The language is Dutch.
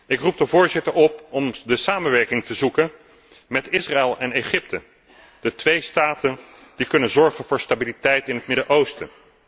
Ik roep de voorzitter op om de samenwerking te zoeken met Israël en Egypte, de twee staten die kunnen zorgen voor stabiliteit in het Midden Oosten.